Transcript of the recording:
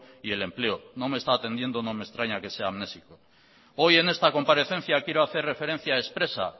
y el empleo no me está atendiendo no me extraña que sea amnésico hoy en esta comparecencia quiero hacer referencia expresa